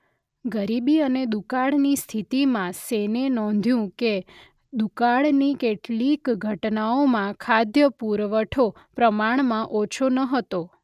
ગરીબી અને દુકાળ ની સ્થિતિમાં સેને નોંધ્યું કે દુકાળની કેટલીક ઘટનાઓમાં ખાદ્ય પુરવઠો પ્રમાણમાં ઓછો ન હતો.